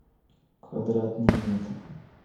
квадратный метр